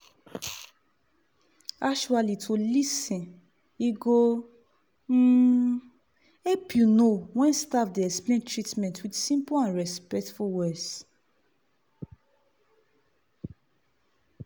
actuallyto lis ten e go um help you know when staff dey explain treatment with simple and respectful words."